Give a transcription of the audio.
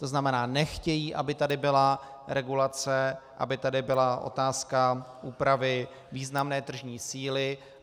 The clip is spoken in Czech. To znamená, nechtějí, aby tady byla regulace, aby tady byla otázka úpravy významné tržní síly.